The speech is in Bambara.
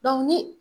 ni